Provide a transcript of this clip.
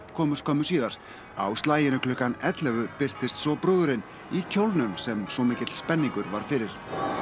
komu skömmu síðar á slaginu klukkan ellefu birtist svo brúðurin í kjólnum sem svo mikill spenningur var fyrir